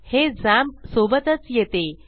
हे झॅम्प सोबतच येते